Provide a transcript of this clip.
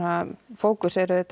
fókus er